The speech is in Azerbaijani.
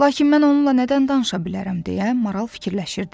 Lakin mən onunla nədən danışa bilərəm deyə maral fikirləşirdi.